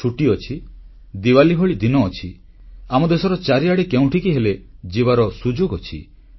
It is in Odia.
ଛୁଟି ଅଛି ଦିପାବଳୀ ଭଳି ଦିନ ଅଛି ଆମ ଦେଶର ଚାରିଆଡ଼େ କେଉଁଠିକି ହେଲେ ଯିବାର ସୁଯୋଗ ଅଛି